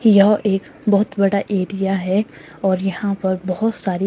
यह एक बहोत बड़ा एरिया है और यहां पर बहोत सारे--